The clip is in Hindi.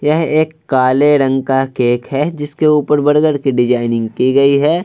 यह एक काले रंग का केक है जिसके ऊपर बर्गर की डिजाइनिंग की गई है।